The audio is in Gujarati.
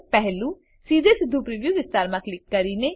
પહેલું સીધેસીધું પ્રિવ્યુ વિસ્તારમાં ક્લિક કરીને